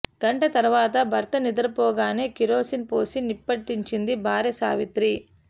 గంట తర్వాత భర్త నిద్రపోగానే కిరోసిన్ పోసి నిప్పంటించింది భార్య సావిత్రి